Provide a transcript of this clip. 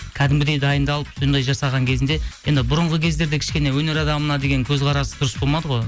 кәдімгідей дайындалып сондай жасаған кезінде енді бұрынғы кездерде кішкене өнер адамына деген көзқарас дұрыс болмады ғой